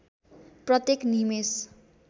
प्रत्येक निमेष